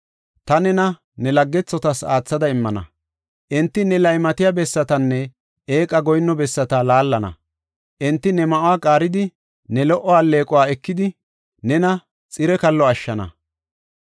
Ta nena ne laggethotas aathada immana; enti ne laymatiya bessatanne eeqa goyinno bessata laallana. Enti ne ma7uwa qaaridi, ne lo77o alleequwa ekidi, nena xire kallo ashshana.